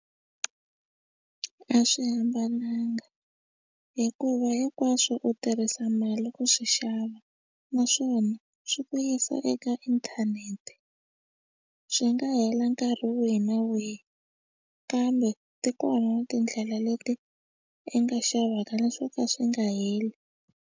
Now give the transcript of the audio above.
A a swi hambananga hikuva hinkwaswo u tirhisa mali ku swi xava naswona swi ku yisa eka inthanete swi nga hela nkarhi wihi na wihi kambe ti kona na tindlela leti i nga xavaka na swo ka swi nga heli.